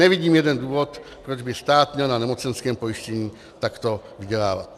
Nevidím jeden důvod, proč by stát měl na nemocenském pojištění takto vydělávat.